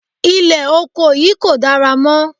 Ilẹ̀ oko yìí kò dára mọ́.